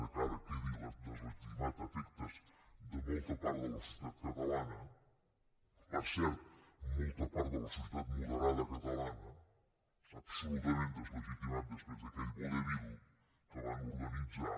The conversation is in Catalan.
que ara quedi deslegitimat a efectes de molta part de la societat catalana per cert molta part de la societat moderada catalana absolutament deslegitimat després d’aquell vodevil que van organitzar